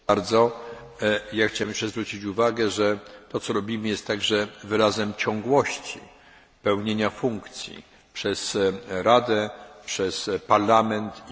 Chciałbym zwrócić uwagę, że to, co robimy jest wyrazem ciągłości pełnienia funkcji przez Radę, przez Parlament i przez Komisję.